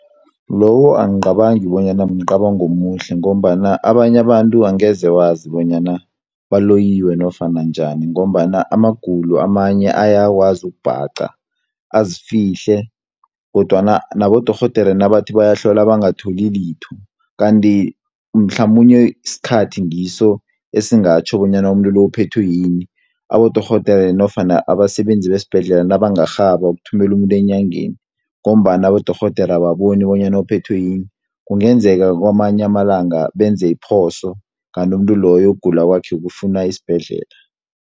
Lowo angicabangi bonyana mcabango omuhle, ngombana abanye abantu angeze wazi bonyana baloyiwe nofana njani, ngombana amagulo amanye ayakwazi ukubhaqa azifihle, kodwana nabodorhodere nabathi bayahlola bangatholi litho. Kanti mhlamunye isikhathi ngiso esingatjho bonyana umuntu lo, uphethwe yini. Abodorhodere nofana abasebenzi besibhendlela nabangarhabha ukuthumela umuntu enyangeni, ngombana abodorhodera ababoni bonyana uphethwe yini, kungenzeka kwamanye amalanga benze iphoso, kanti umuntu loyo ukugula kwakhe kufuna isibhedlela.